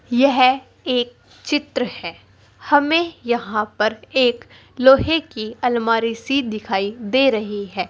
यह एक चित्र है। हमें यहां पर एक लोहे की आलमारी सी दिखाई दे रही है।